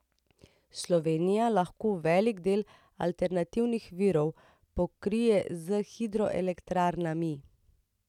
Slovenija lahko velik del alternativnih virov pokrije s hidroelektrarnami.